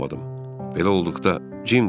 Belə olduqda Cim deyə qışqırdım.